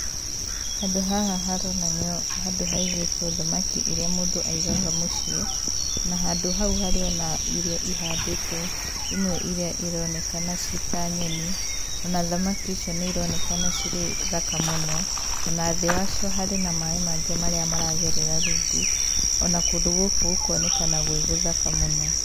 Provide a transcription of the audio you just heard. Handũ haha haronania handũ haigĩtwo thamaki irĩa mũndũ aigaga mũciĩ. Na handũ hau harĩ o na irio ihandĩtwo imwe irĩa ironekana ci ta nyeni, o na thamaki icio nĩ ironekana cirĩ thaka mũno, ona thĩ wa cio harĩ na maĩ mangĩ marĩa maragerera rungu, ona kũndũ gũkũ gũkonekana gwĩ gũthaka mũno.